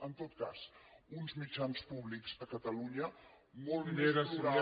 en tot cas uns mitjans públics a catalunya molt més plurals